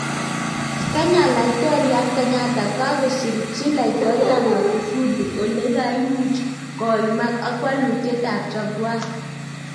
kenya: laitoriat Kenyatta kogasirchi laitoriat Magufuli olegaimuch koimak ak walutiet ap Jaguar